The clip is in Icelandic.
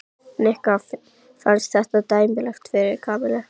Nikka fannst þetta dæmigert fyrir Kamillu.